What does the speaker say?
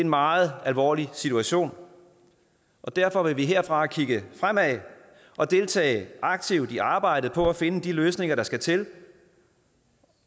meget alvorlig situation og derfor vil vi herfra kigge fremad og deltage aktivt i arbejdet for at finde de løsninger der skal til